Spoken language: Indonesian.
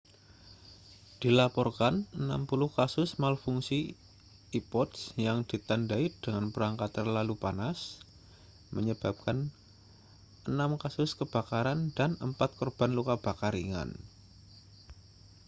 dilaporkan 60 kasus malfungsi ipods yang ditandai dengan perangkat terlalu panas menyebabkan enam kasus kebakaran dan empat korban luka bakar ringan